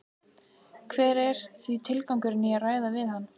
Hver er því tilgangurinn í að ræða við hann?